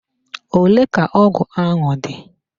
Ole ka ọgụ ahụ dị?